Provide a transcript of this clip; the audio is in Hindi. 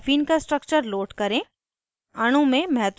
* database से caffeine का structure load करें